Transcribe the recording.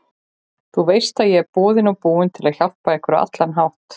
Þú veist ég er boðinn og búinn til að hjálpa ykkur á allan hátt.